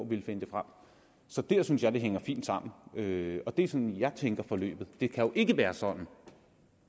ville finde dem frem så der synes jeg det hænger fint sammen og det er sådan jeg tænker forløbet det kan jo ikke være sådan